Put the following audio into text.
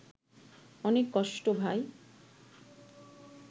অনেক কষ্ট ভাই